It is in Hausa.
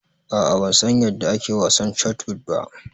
A'a ban san yanda ake wasan shotput ba.